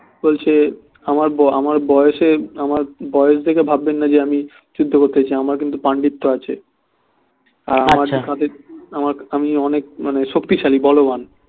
বলছে আমার ব~বয়সে আমার বয়স দেখে ভাববেন না যে আমি যুদ্ধ করতে চাই আমার কিন্তু পান্ডিত্ব আছে আমি অনেক মানে শক্তিশালী বলবান